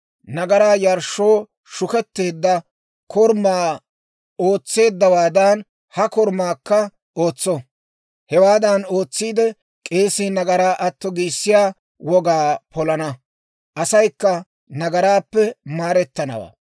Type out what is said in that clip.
Nagaraa yarshshoo shuketteedda korumaa ootseeddawaadan ha korumaakka ootso. Hewaadan ootsiide, k'eesii nagaraa atto giissiyaa wogaa polana; asaykka nagaraappe maarettanawaa.